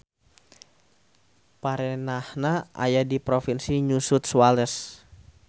Perenahna aya di provinsi New South Wales.